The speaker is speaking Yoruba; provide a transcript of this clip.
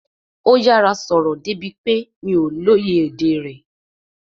Ó yára sọ̀rọ̀ débi pé mi ò lè lóye èdè rẹ̀